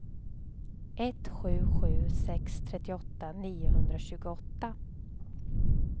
ett sju sju sex trettioåtta niohundratjugoåtta